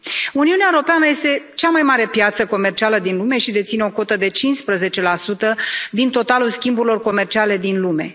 Uniunea Europeană este cea mai mare piață comercială din lume și deține o cotă de 15 din totalul schimburilor comerciale din lume.